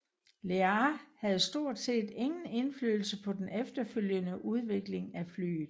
Lear havde stort set ingen indflydelse på den efterfølgende udvikling af flyet